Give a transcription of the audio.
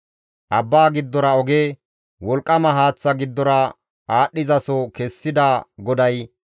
Abbaa giddora oge, wolqqama haaththa giddora aadhdhizaso kessida GODAY,